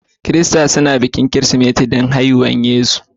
Kirista snubuin bikin Kirismeti dan shedan haihuwar Yesu.